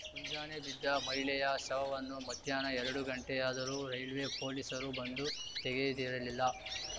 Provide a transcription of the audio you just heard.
ಮುಂಜಾನೆ ಬಿದ್ದ ಮಹಿಳೆಯ ಶವವನ್ನು ಮಧ್ಯಾಹ್ನ ಎರಡು ಗಂಟೆಯಾದರೂ ರೈಲ್ವೆ ಪೊಲೀಸರು ಬಂದು ತೆಗೆದಿರಲಿಲ್ಲ